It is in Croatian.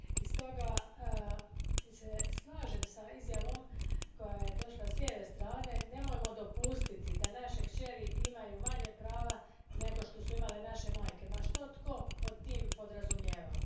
I stoga se slažem s izjavom koja je došla s lijeve strane nemojmo dopustiti da naše kćeri imaju manje prava nego što su imale naše majkeˮ, ma što tko pod tim podrazumijevao.